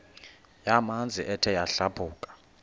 yamanzi ethe yadlabhuka